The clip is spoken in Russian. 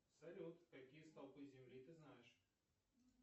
салют какие столпы земли ты знаешь